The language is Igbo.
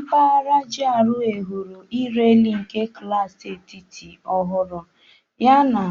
Mpaghara GRA hụrụ ịrị elu nke klaasị etiti ọhụrụ yana